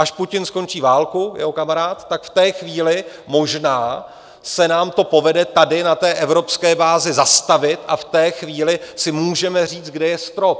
Až Putin skončí válku, jeho kamarád, tak v té chvíli možná se nám to povede tady na té evropské bázi zastavit a v té chvíli si můžeme říct, kde je strop.